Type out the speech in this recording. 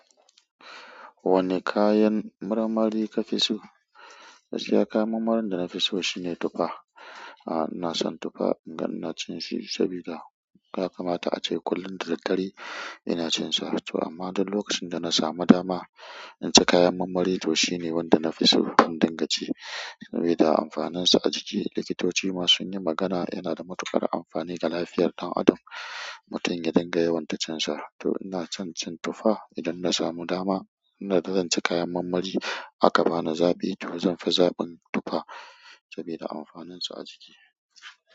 Wane kayan marmari kafi so? Toh gaskiya kayan marmarin da na fi so shine tufa. Ah, na son tufa, in ga ina cin shi saboda ya kamata a ce kullum da daddare ina cin sa. To amma duk lokacin da na samu dama in ci kayan marmari, to shi ne wanda na fi so. In dinga ci, sabuda amfaninsa a jiki. Likitoci ma sunyi magana, yana da matuƙar amfani ga lafiyar ɗan adam mutum ya dinga yawaita cinsa, to ina son cin tufa idan na samu dama, idai zanci kayan marmari aka bani zaɓi to zanbi zaɓin tufa saboda amfanin sa ajiki.